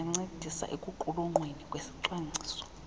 bangancedisa ekuqulunqweni kwesicwangciso